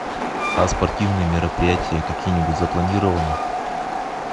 а спортивные мероприятия какие нибудь запланированы